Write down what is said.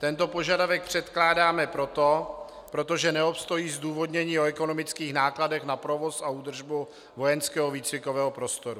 Tento požadavek předkládáme proto, protože neobstojí zdůvodnění o ekonomických nákladech na provoz a údržbu vojenského výcvikového prostoru.